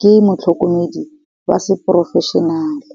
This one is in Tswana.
ke motlhokomedi wa se porofešhenale.